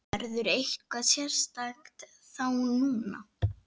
Verður eitthvað sérstakt þá núna?